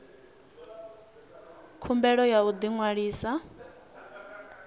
khumbelo ya u ḓi ṅwalisa